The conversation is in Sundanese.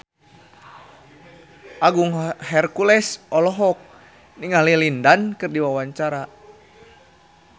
Agung Hercules olohok ningali Lin Dan keur diwawancara